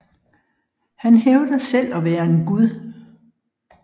Han hævder selv at være en gud